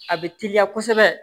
A bɛ teliya kosɛbɛ